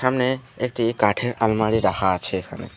সামনে একটি কাঠের আলমারি রাখা আছে এখানে।